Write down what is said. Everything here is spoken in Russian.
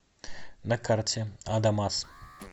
на карте адамас